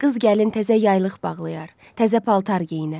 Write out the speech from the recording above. Qız gəlin təzə yaylıq bağlayar, təzə paltar geyinər.